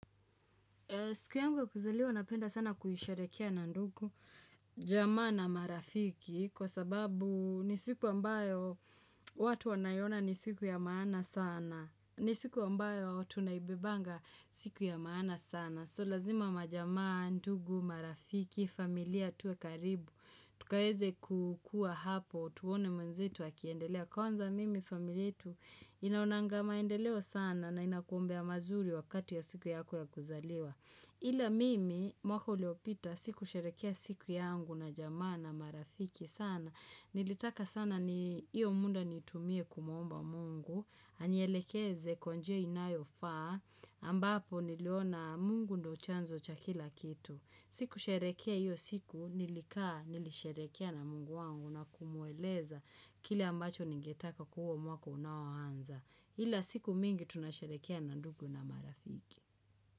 Siku yangu ya kuzaliwa, napenda sana kuisherehekea na ndugu, jamaa na marafiki, kwa sababu ni siku ambayo watu wanaiona ni siku ya maana sana, ni siku ambayo tunaibebanga siku ya maana sana. So lazima majamaa, ndugu, marafiki, familia tuwe karibu Tukaweze kukua hapo, tuone mwenzetu akiendelea Kwanza mimi, familia yetu inaonanga maendeleo sana na inakuombea mazuri wakati wa siku yako ya kuzaliwa Ila mimi, mwaka uliopita, sikusherehekea siku yangu na jamaa na marafiki sana Nilitaka sana ni hiyo muda nitumie kumuomba mungu anielekeze kwa njia inayo faa ambapo niliona mungu ndo chanzo cha kila kitu. Sikusherehekea hiyo siku nilikaa nilisherehekea na mungu wangu na kumueleza kile ambacho ningetaka huo mwaka unaoanza. Ila siku mingi tunasherekea na ndugu na marafiki.